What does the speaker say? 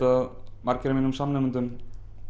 að margir af mínum samnemendum